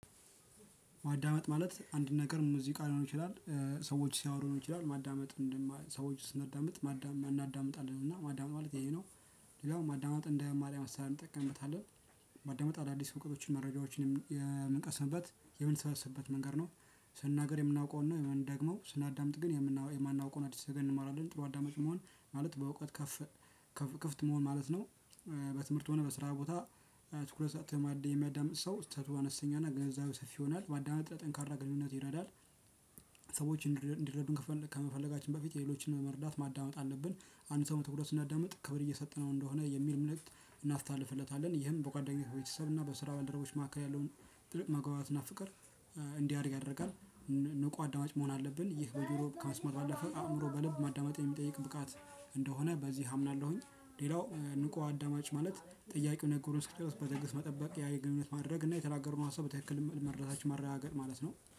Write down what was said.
ማዳመጥ ማለት አንድ ነገር ሙዚቃ ሊሆን ይችላል ሰዎች ሲያወሩ ሊሆን ይችላል ማዳመጥ ሰዎች ስናዳምጥ እናዳምጣለን እና ማዳመጥ ማለት ይሄ ነው። እና ማዳመጥ እንደ ማርያም አሰራር እንጠቀምበታለን። ማዳመጥ አዳዲስ እውቀቶችን መረጃዎችንም የምንቀስምበት የምንሰበስብበት መንገድ ነው። ስንናገር የምናውቀውን ነው ደግሞ ስናዳምጥ ግን የማናውቀውን አዲስ ነገር እንማራለን። ጥሩ አዳማጭ መሆን ማለት በእውቀት ከፍ ክፍት መሆን ማለት ነው። በትምህርት ሆነ በስራ ቦታ። ትኩረት የሚያዳምጥ ሰው ስህተቱ አነስተኛና ግንዛቤው ሰፊ ይሆናል ማዳመጥ ለጠንካራ ግንኙነት ይረዳል። ሰዎች እንዲረዱን ከመፈለጋችን በፊት የሌሎችን መረዳት ማዳመጥ አለብን። አንድ ሰው በትኩረት ስናዳምጥ ክብር እየሰጠነው እንደሆነ የሚል እምነት እናስተላልፍለታለን ይህም በጓደኝነት በቤተሰብ እና በስራ ባልደረቦች መካከል ያለውን ጥልቅ መግባባት እና ፍቀር እንዲያድግ ያደርጋል። ንቁ አዳማጭ መሆን አለብን ይህ በጆሮ ከመስማት ባለፈ አእምሮ በልብ ማዳመጥ የሚጠይቅ ብቃት እንደሆነ በዚህ አምናለሁኝ። ሌላው ንቁ አዳማጭ ማለት ጥያቄው ነገሩ እስኪደርስ በትግስት መጠበቅ ያ የግንኙነት ማድረግ እና የተናገረውን ሀሳብ በትክክል መረዳታችንን ማረጋገጥ ማለት ነው